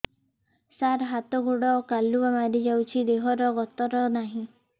ସାର ହାତ ଗୋଡ଼ କାଲୁଆ ମାରି ଯାଉଛି ଦେହର ଗତର ନାହିଁ